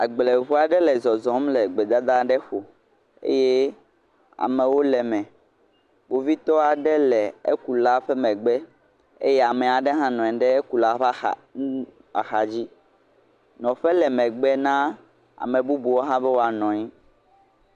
Agbleŋu aɖe le zɔzɔm le gbedada aɖe ƒo eye amewo le eme, kpovitɔ aɖe nɔ anyi le ekula megbe eye ame aɖe hã nɔ anyi ɖe ekula ƒe axa dzi, nɔƒʋe le megbe na ame bubu aɖe hã be woanɔ anyi.